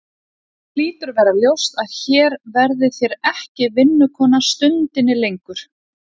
Yður hlýtur að vera ljóst að hér verðið þér ekki vinnukona stundinni lengur.